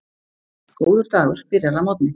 Góður dagur byrjar að morgni.